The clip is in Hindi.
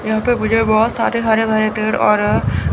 यहां पे मुझे बहोत सारे हरे भरे पेड़ और--